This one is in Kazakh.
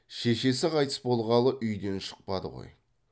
шешесі қайтыс болғалы үйден шықпады ғой